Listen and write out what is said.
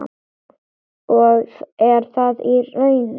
Og er það raunin?